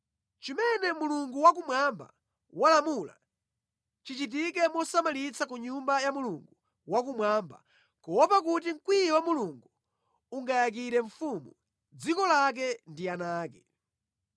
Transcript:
Chimene Mulungu Wakumwamba walamula, chichitike mosamalitsa ku Nyumba ya Mulungu Wakumwamba kuopa kuti mkwiyo wa Mulungu ungayakire mfumu, dziko lake ndi ana ake.